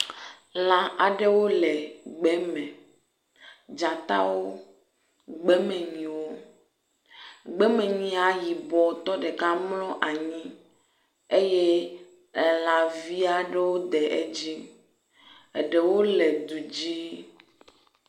lã aɖewo le gbe me dzatawo gbemenyiwo gbemenyia yibɔtɔ ɖeka mlɔ anyi eye elãviaɖewo de edzí eɖewo le dudzí